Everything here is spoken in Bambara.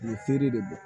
U ye feere de bɔ